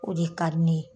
O de ka di ne ye